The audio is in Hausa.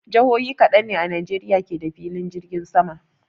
Jihohi kaɗan ne a Najeriya ke da filin jirgin sama.